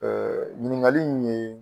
ɲiniŋali in ye